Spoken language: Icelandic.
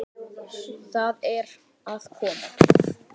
Það er að koma!